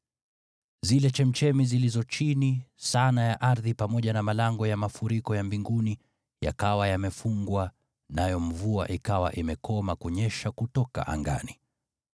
Zile chemchemi zilizo chini sana ya ardhi pamoja na malango ya mafuriko ya mbinguni yakawa yamefungwa nayo mvua ikawa imekoma kunyesha kutoka angani.